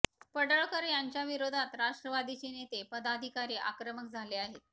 पडळकर यांच्या विरोधात राष्ट्रवादीचे नेते पदाधिकारी आक्रमक झाले आहेत